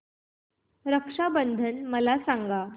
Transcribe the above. रक्षा बंधन मला सांगा